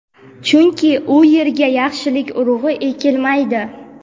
chunki u yerga yaxshilik urug‘i ekilmaydi.